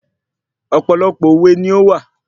Ọ̀pọ̀lọpọ̀ òwe ni ówà